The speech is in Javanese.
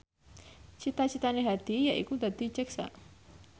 cita citane Hadi yaiku dadi jaksa